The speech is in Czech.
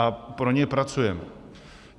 A pro ně pracujeme.